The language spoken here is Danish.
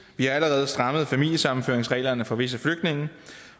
vi har allerede strammet familiesammenføringsreglerne for visse flygtninge